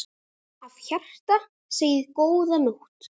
Af hjarta segið: GÓÐA NÓTT.